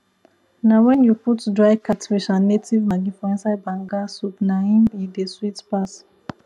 na wen you put dry catfish and native maggi for inside banga soup na im e dey sweet pass